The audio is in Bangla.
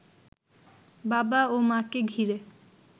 বাবা ও মাকে ঘিরে